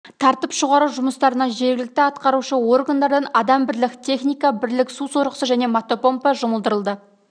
тартып шығару жұмыстарына жергілікті атқарушы органдардан адам бірлік техника бірлік су сорғысы және мотопомпа жұмылдырылды